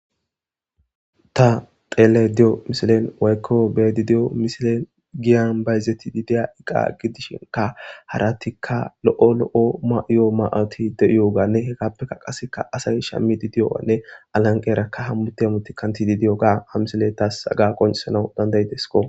ta xeelay de7o misilen waykko bedi diyo misilen giyan bayzetidi diya iqa gidishinka haratikka lo7o lo7o ma7yo ma7oti de7iyo ganne hekappeka qaseka asay shammidi diyoanne alanqerakka hammute amuti kantidi diyo gaa ha misile tas agaqonchesanau dandayidesko